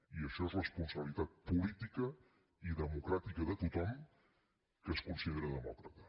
i això és responsabilitat política i democràtica de tothom que es considera demòcrata